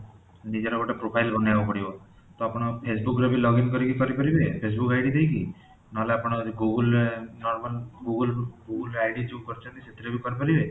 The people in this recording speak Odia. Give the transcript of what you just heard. ନିଜର ଗୋଟେ profile ବନେଇବାକୁ ପଡିବ ତ ଆପଣ facebook ରେ ବି login କରିକି କରି ପାରିବେ facebook ID ଦେଇକି ନହେଲେ ଆପଣ google ରେ normal google google ରେ ଯୋଉ ID କଇଛନ୍ତି ସେଥିରେ ବି କରି ପାରିବେ